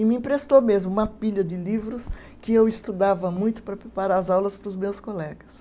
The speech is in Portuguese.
E me emprestou mesmo uma pilha de livros que eu estudava muito para preparar as aulas para os meus colegas.